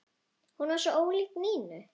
Hún var svo ólík Nínu.